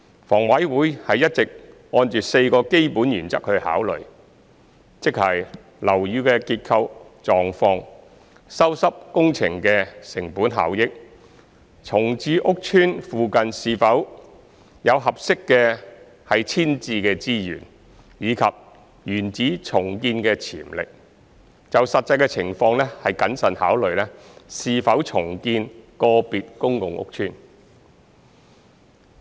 房委會一直按4個基本原則考慮，即樓宇的結構狀況、修葺工程的成本效益、重建屋邨附近是否有合適的遷置資源，以及原址重建的潛力，就實際情况謹慎考慮是否重建個別公共屋邨。